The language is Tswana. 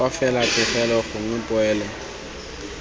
fa fela pegelo gongwe poelo